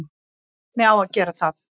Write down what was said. Hvernig á að gera það?